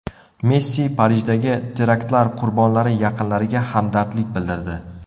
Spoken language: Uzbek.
Messi Parijdagi teraktlar qurbonlari yaqinlariga hamdardlik bildirdi.